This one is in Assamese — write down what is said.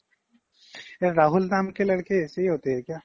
Hindi